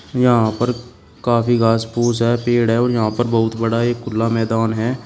यहां पर काफी घास फूस है पेड़ है और यहां पर बहुत बड़ा एक खुला मैदान है।